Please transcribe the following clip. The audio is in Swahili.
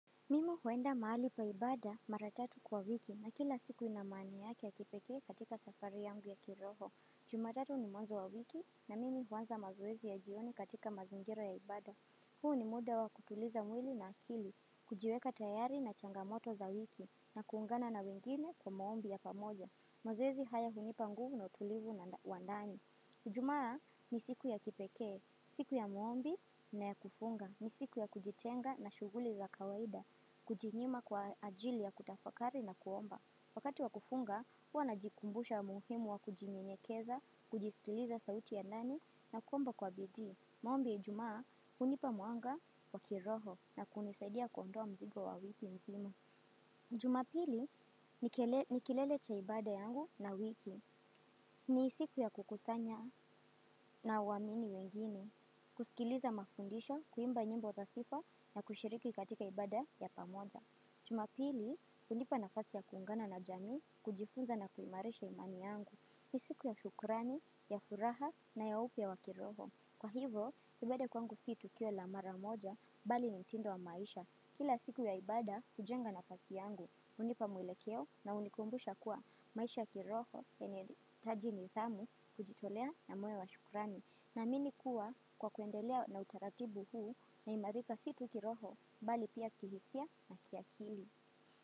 Mimi huenda mahali pa ibada mara tatu kwa wiki na kila siku ina imani yake ya kipekee katika safari yangu ya kiroho. Jumatatu ni mwanzo wa wiki na mimi huanza mazoezi ya jioni katika mazingira ya ibada. Huu ni muda wa kutuliza mwili na akili, kujiweka tayari na changamoto za wiki na kuungana na wengine kwa maombi ya pamoja. Mazoezi haya hunipa nguvu na utulivu na wa ndani. Ijumaa ni siku ya kipekee, siku ya maombi na ya kufunga, ni siku ya kujitenga na shughuli za kawaida. Kujinyima kwa ajili ya kutafakari na kuomba. Wakati wa kufunga, huwa najikumbusha umuhimu wa kujinyenyekeza, kujiskiliza sauti ya nani na kuomba kwa bidii. Maombi ya ijumaa hunipa mwanga wa kiroho na kunisaidia kuondoa mzigo wa wiki nzima. Jumapili ni kilele cha ibada yangu na wiki. Ni siku ya kukusanya na waamini wengine. Kusikiliza mafundisho, kuimba nyimbo za sifa na kushiriki katika ibada ya pamoja. Juma pili, hunipa nafasi ya kuungana na jami kujifunza na kuimarisha imani yangu. Ni siku ya shukurani, ya furaha na ya upya wa kiroho. Kwa hivo, ibada kwangu si tukio la mara moja, bali ni mtindo wa maisha. Kila siku ya ibada, hujenga nafasi yangu hunipa mwelekeo na unikumbusha kuwa maisha ya kiroho inahitajiaji nidhamu kujitolea na moyo wa shukrani. Naamini kuwa kwa kuendelea na utaratibu huu naimarika si tu kiroho bali pia kihisia na kiakili.